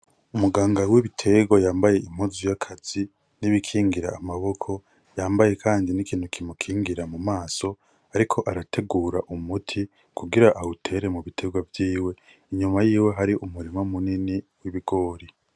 Umuganga w'ibiterwa yambaye impuzu y'akazi n'ibikingira amaboko. Yambaye kandi n'ikintu kimukingira mu maso. Ariko arategura umuti, kugira awutere mu biterwa vyiwe. Inyuma yiwe hari umurima munini w'ibigori.